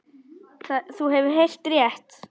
Þú hefur heyrt rétt.